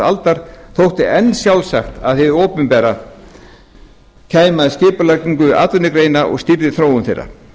aldar þótti enn sjálfsagt að hið opinbera kæmi að skipulagningu atvinnugreina og stýrði þróun þeirra